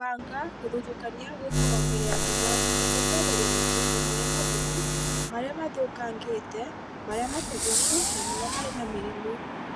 Kũbanga, Gũthutũkania gwĩkagwo mbere ya kũbanga nĩguo kweheria matunda marĩa mabuthu, marĩa mathũkangĩte, marĩa matoboku, na marĩa marĩ na mĩrimũ